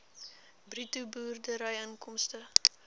bruto boerderyinkomste